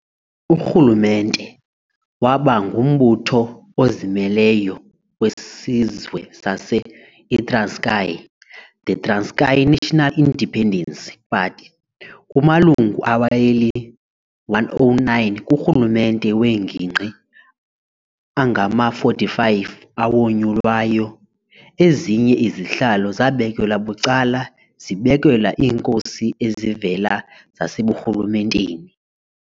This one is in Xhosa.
Urhulumente waba ngumbutho ozimeleyo wesizwe sase i-Transkei the Transkei National Independence Party. Kumalungu aweyeli-109 kurhulumente wengingqi, angama-45 awonyulwayo, ezinye izihlalo zabekelwa bucala zibekelwa iinkosi ezivela zaseburhulumenteni.